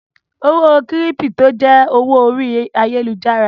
Owó kírípítò jẹ́ owó orí ayálujára.